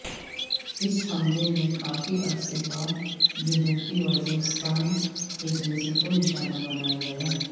اس حملے میں کافی عرصے بعد جنوبی وزیرستان ایجنسی کو نشانہ بنایا گیا ہے